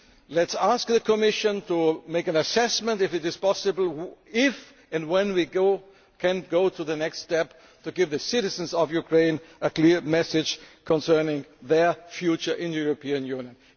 Let us ask the Commission to make an assessment of whether it is possible if, and when, we can go to the next step, to give the citizens of Ukraine a clear message concerning their future in the European Union.